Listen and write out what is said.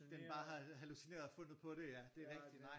Den bare har hallucineret og fundet på det ja det rigtigt nej